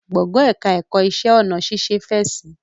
Gbọ̀ngàn ẹ̀ka ẹ̀kọ́ iṣẹ́ ọnà ṣẹ̀ṣẹ̀ fẹ̀ si